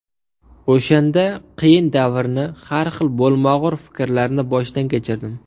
O‘shanda qiyin davrni, har xil bo‘lmag‘ur fikrlarni boshdan kechirdim.